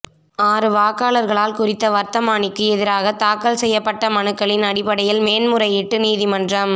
ஆறு வாக்காளர்களால் குறித்த வர்த்தமானிக்கு எதிராக தாக்கல் செய்யப்பட்ட மனுக்களின் அடிப்படையில் மேன்முறையீட்டு நீதிமன்றம்